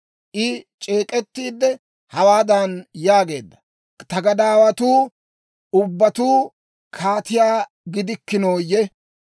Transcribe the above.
I c'eek'ettiidde, hawaadan yaageedda; «Ta gadaawatuu ubbatuu kaatiyaa gidikkinooyye?